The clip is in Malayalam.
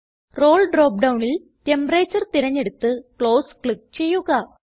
റോൾ ഡ്രോപ്പ് ഡൌണിൽ ടെമ്പറേച്ചർ തിരഞ്ഞെടുത്ത് ക്ലോസ് ക്ലിക്ക് ചെയ്യുക